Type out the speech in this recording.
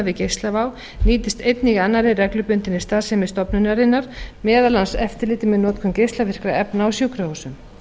við geislavá nýtist einnig í annarri reglubundinni starfsemi stofnunarinnar meðal annars eftirliti með notkun geislavirkra efna á sjúkrahúsum